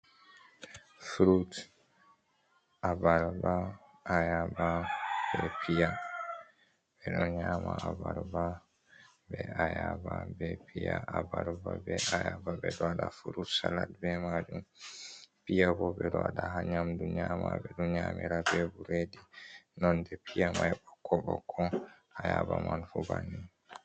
Fruit, abarba, ayaba bee piya. Ɓe ɗo nyaama abarba bee ayaba bee piya. Abarba bee ayaba, ɓe ɗo waɗa fruit salat bee maajum. Piya boo ɓe ɗo waɗa haa nyaamdu nyaama ɓe ɗo nyaamira bee bureedi nonɗe piya mai bokko-bokko, ayaba man fuu banni.